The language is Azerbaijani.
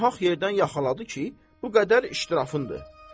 Nahaq yerdən yaxaladı ki, bu qədər iş tirafındır.